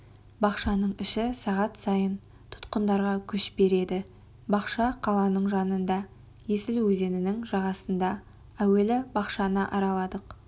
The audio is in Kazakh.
бақшаның іші сағат сайын тұтқындарға күш береді бақша қаланың жанында есіл өзенінің жағасында әуелі бақшаны араладық